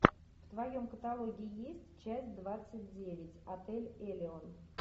в твоем каталоге есть часть двадцать девять отель элеон